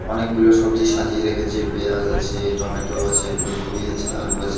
অনেকগুলো সবজি সাজিয়ে রেখেছে পেঁয়াজ আছে টমেটো আছে ফুলকপি আছে আলু আছে.